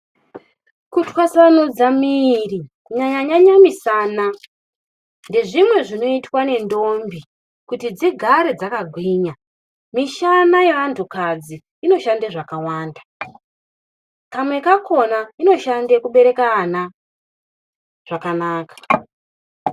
Kutwasanudza miri kunyanya nyanya misana ngezvimwe zvinoitwa ngentombi kuti dzigare dzakagwinya. Mishana yeandu kadzi inoshanda zvakawanda. Kwamwe kakhona inoshande kubereka ana zvakanaka.